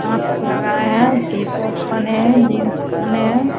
Mask लगाया है T-shirt पहने है जीन्स पहने है।